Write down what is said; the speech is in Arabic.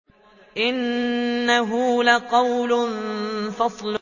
إِنَّهُ لَقَوْلٌ فَصْلٌ